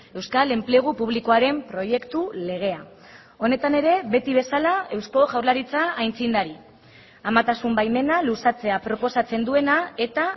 euskal enplegu publikoaren proiektu legea honetan ere beti bezala eusko jaurlaritza aitzindari amatasun baimena luzatzea proposatzen duena eta